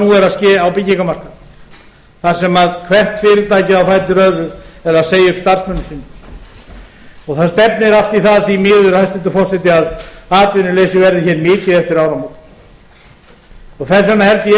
nú er að ske á byggingarmarkaðnum þar sem hvert fyrirtækið á fætur öðru er að segja upp starfsmönnum sínum það stefnir allt í það því miður hæstvirtur forseti að atvinnuleysi verði hér mikið eftir áramót þess vegna held ég